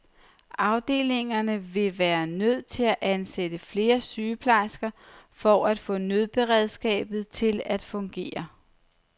Afdelingerne ville være nødt til at ansætte flere sygeplejersker for at få nødberedskabet til at fungere.